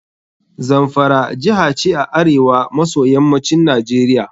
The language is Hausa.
Zamfara jiha ce a arewa maso yammacin Najeriia.